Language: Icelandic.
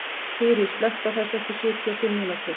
Þyri, slökktu á þessu eftir sjötíu og fimm mínútur.